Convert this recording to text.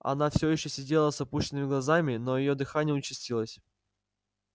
она все ещё сидела с опущенными глазами но её дыхание участилось